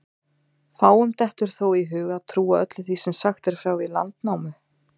Fáum dettur þó í hug að trúa öllu því sem sagt er frá í Landnámu.